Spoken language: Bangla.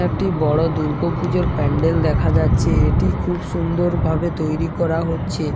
একটি বড়ো দুর্গোপূজোর প্যান্ডেল দেখা যাচ্ছে এটি খুব সুন্দর ভাবে তৈরি করা হচ্ছে।